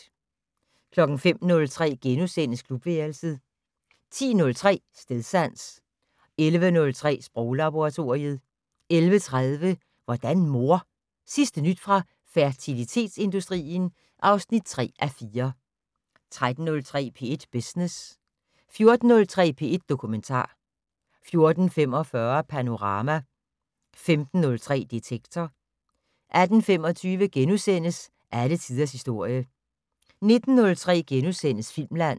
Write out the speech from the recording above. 05:03: Klubværelset * 10:03: Stedsans 11:03: Sproglaboratoriet 11:30: Hvordan mor? Sidste nyt fra fertilitetsindustrien (3:4) 13:03: P1 Business 14:03: P1 Dokumentar 14:45: Panorama 15:03: Detektor 18:25: Alle tiders historie * 19:03: Filmland *